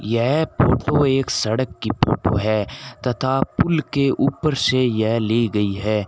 यह फोटो एक सड़क की फोटो है तथा पुल के ऊपर से यह ली गई है।